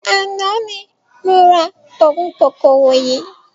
Àná ni mo ra ogún kòkòrò yii